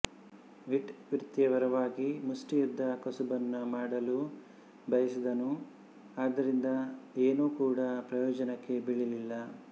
with ವೃತ್ತಿ ಪರವಾಗಿ ಮುಷ್ಠಿಯುದ್ಧ ಕಸಬನ್ನು ಮಾಡಲು ಬಯಸಿದನು ಆದರಿಂದ ಏನೂ ಕುಡಾ ಪ್ರಯೋಜನಕ್ಕೆ ಬೀಳಲಿಲ್ಲಿ